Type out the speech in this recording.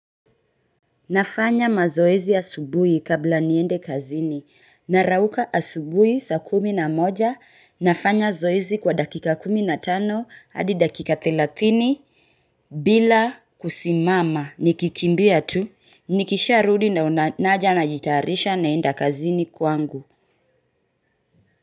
Nafanya mazoezi asubuhi kabla niende kazini narauka asubuhi saa kumi na moja nafanya zoezi kwa dakika kumi na tano hadi dakika thelathini bila kusimama nikikimbia tu nikisharudi na naja najitayarisha naenda kazini kwangu.